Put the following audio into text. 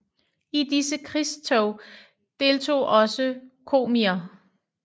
I disse krigstog deltog også komier